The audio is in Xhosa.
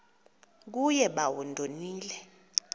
kuye bawo ndonile